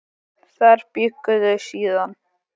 Þar bjuggu þau síðan.